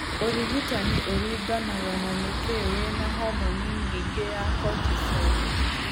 Ũrigitani ũringanaga na nĩkĩ wĩna homoni nyingĩ ya cortisol.